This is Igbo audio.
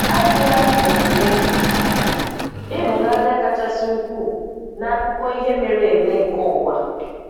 Ajụla omume ịhụnanya kachasị ukwuu n'akụkọ ihe mere eme nke ụwa.